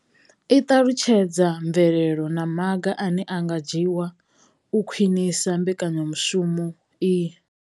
I ṱalutshedza mvelelo na maga ane a nga dzhiwa u khwinisa mbekanyamushumo iyi.